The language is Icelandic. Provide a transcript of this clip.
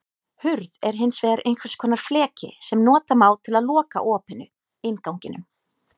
Hurð er hins vegar einhvers konar fleki sem nota má til að loka opinu, innganginum.